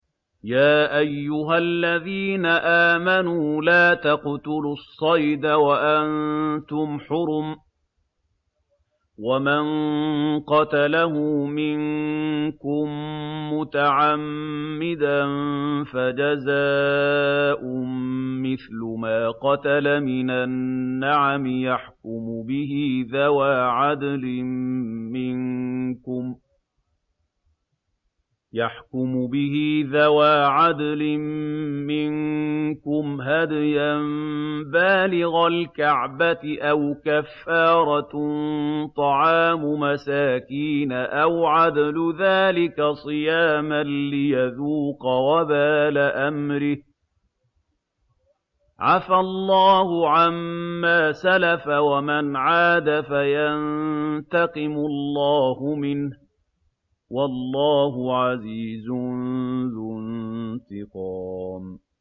يَا أَيُّهَا الَّذِينَ آمَنُوا لَا تَقْتُلُوا الصَّيْدَ وَأَنتُمْ حُرُمٌ ۚ وَمَن قَتَلَهُ مِنكُم مُّتَعَمِّدًا فَجَزَاءٌ مِّثْلُ مَا قَتَلَ مِنَ النَّعَمِ يَحْكُمُ بِهِ ذَوَا عَدْلٍ مِّنكُمْ هَدْيًا بَالِغَ الْكَعْبَةِ أَوْ كَفَّارَةٌ طَعَامُ مَسَاكِينَ أَوْ عَدْلُ ذَٰلِكَ صِيَامًا لِّيَذُوقَ وَبَالَ أَمْرِهِ ۗ عَفَا اللَّهُ عَمَّا سَلَفَ ۚ وَمَنْ عَادَ فَيَنتَقِمُ اللَّهُ مِنْهُ ۗ وَاللَّهُ عَزِيزٌ ذُو انتِقَامٍ